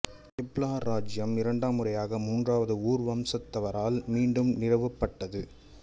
Ebla இராச்சியம் இரண்டாம் முறையாக மூன்றாவது ஊர் வம்சத்தவரால் மீண்டும் நிறுவப்பட்டது